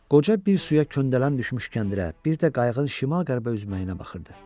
Qoca bir suya köndələn düşmüş kəndirə, bir də qayığın şimal-qərbə üzməyinə baxırdı.